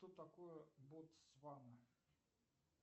что такое ботсвана